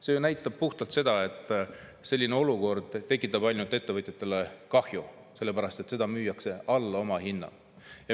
See ju näitab puhtalt seda, et selline olukord tekitab ettevõtjatele ainult kahju, sellepärast et seda müüakse alla omahinna.